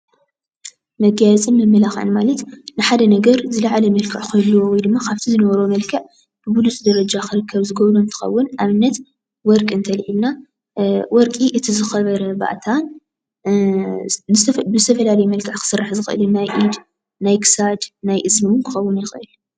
መጋየፅን መመላክዕን ማለት ንሓደ ነገር ዝልዓለ መልክዕ ክህልዎ ወይ ድማ ካብቲ ዝነበሮ መልክዕ ቡቡሉፅ ደረጃ ዝገብሮ እንትከዉን ኣብነት ወርቂ እንተልዒልና ወርቂ እቲ ዝከበረ ባእታን እ ብዝተፈላለዩ መልክዕ ክስራሕ ይክእል እዩ ፡፡ ናይ ክሳድ ናይ እዝኒ ክከዉን ይክእል፡፡